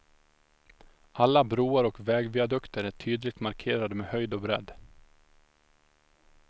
Alla broar och vägviadukter är tydligt markerade med höjd och bredd.